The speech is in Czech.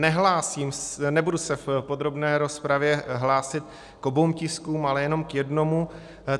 Nebudu se v podrobné rozpravě hlásit k oběma tiskům, ale jenom k jednomu.